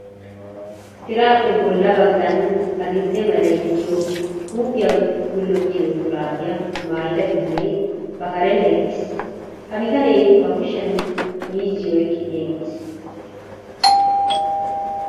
Tiraappe bolla baggan adil"e meray de'iyo huuphiya gullottiyo shuraabiya maayida bitanee ba karren eqqiis. Ha bitanee ba kushiyan miizziyo oyqqidi eqqiis.